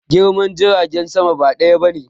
Girman jiragen sama ba ɗaya bane